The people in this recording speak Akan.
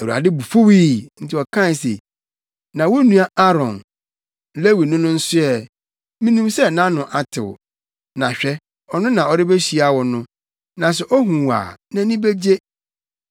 Awurade bo fuwii, enti ɔkaa se, “Na wo nua Aaron, Lewini no nso ɛ, minim sɛ nʼano atew. Na hwɛ ɔno na ɔrebehyia wo no, na sɛ ohu wo a, nʼani begye.